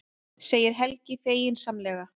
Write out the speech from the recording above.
segir Helgi feginsamlega.